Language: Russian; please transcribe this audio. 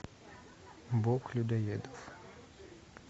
бог людоедов